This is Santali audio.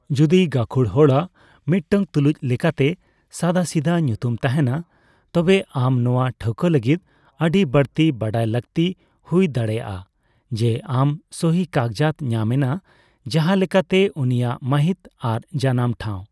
ᱡᱩᱫᱤ, ᱜᱟᱹᱠᱷᱩᱲ ᱦᱚᱲᱟᱜ ᱢᱤᱫᱴᱟᱝ ᱛᱩᱞᱩᱡ ᱞᱮᱠᱟᱛᱮ ᱥᱟᱫᱟᱥᱤᱫᱟᱹ ᱧᱩᱛᱩᱢ ᱛᱟᱸᱦᱮᱱᱟ ᱛᱚᱵᱮ ᱟᱢ ᱱᱚᱣᱟ ᱴᱷᱟᱹᱣᱠᱟ ᱞᱟᱹᱜᱤᱫ ᱟᱹᱰᱤ ᱵᱟᱹᱲᱛᱤ ᱵᱟᱰᱟᱭ ᱞᱟᱹᱠᱛᱤ ᱦᱩᱭ ᱫᱟᱲᱮᱭᱟᱜᱼᱟ ᱡᱮ ᱟᱢ ᱥᱚᱦᱤ ᱠᱟᱜᱡᱟᱛ ᱧᱟᱢ ᱮᱱᱟ, ᱡᱟᱸᱦᱟ ᱞᱮᱠᱟᱛᱮ ᱩᱱᱤᱭᱟᱜ ᱢᱟᱹᱦᱤᱛ ᱟᱨ ᱡᱟᱱᱟᱢ ᱴᱷᱟᱣ ᱾